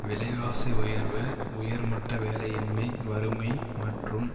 விலைவாசி உயர்வு உயர் மட்ட வேலையின்மை வறுமை மற்றும்